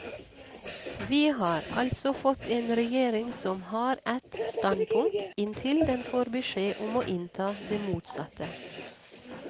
Vi har altså fått en regjering som har ett standpunkt, inntil den får beskjed om å innta det motsatte.